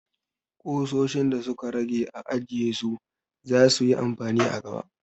Kusoshin da su ka rage a ajiye su! za su yi amfani a gaba.